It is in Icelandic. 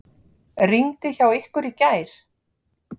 Rigndi hjá ykkur í gær?